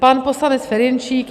Pan poslanec Ferjenčík.